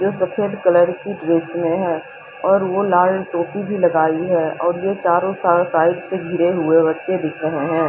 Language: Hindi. जो सफेद कलर की ड्रेस में है और वह लाल टोपी भी लगाइए है और यह चारों साल साइड से गिरे हुए बच्चे दिख रहे हैं।